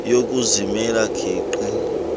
yokuzimela geqe ugqr